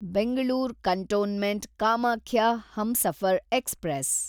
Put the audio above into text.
Bengaluru cantonment Kamakhya Humsafar express